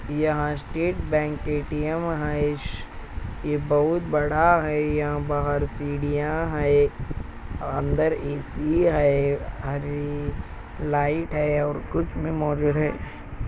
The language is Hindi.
यहाँ स्टेट बैंक ए_टी_एम है ये बहुत बड़ा है यहाँ बाहर सीढ़िया है अंदर ए_सी है और लाइट है और कुछ लोग मोजूद है |